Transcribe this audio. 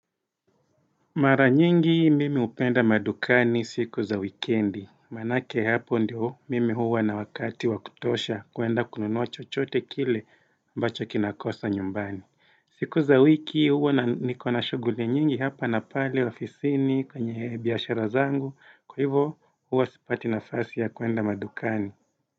Mara nyingi mimi hupenda madukani siku za wikendi, manake hapo ndio mimi huwa na wakati wa kutosha kuenda kununua chochote kile mbacho kinakosa nyumbani. Siku za wiki huwa nikona shughuli nyingi hapa na pale ofisini kwenye biashara zangu, kwahivyo huwa sipati nafasi ya kuenda madukani.